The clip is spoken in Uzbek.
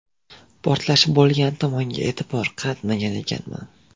Portlash bo‘lgan tomonga e’tibor qaratmagan ekanman.